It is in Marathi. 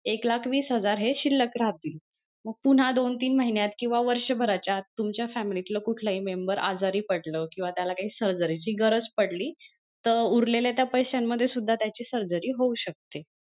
एक लाख वीस हजार हे शिल्लक राहतील मग पुन्हा दोन तीन महिन्यात किंवा वर्ष भराच्या आत तुमच्या फॅमिलीतला कुठलाही member आजारी पडलं किंवा त्याला काही surgery ची गरज पडली तर उरलेल्या त्या पैश्यांमध्ये सुद्धा त्याची surgery होऊ शकते.